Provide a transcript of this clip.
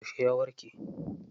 Yauce ya warke?